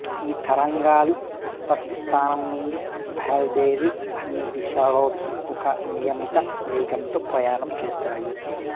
ఈ తరంగాలు ఉత్పత్తి స్థానం నుండి బయలుదేరి అన్ని దిశలలోకీ ఒక నియమిత వేగంతో ప్రయాణం చేస్తాయి